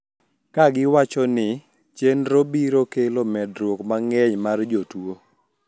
Kagiwacho ni chenrono biro kelo medruok mang`eny mar jotuo